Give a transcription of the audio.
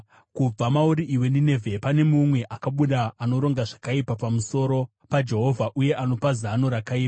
Kubva mauri, iwe Ninevhe, pane mumwe akabuda anoronga zvakaipa pamusoro paJehovha uye anopa zano rakaipa.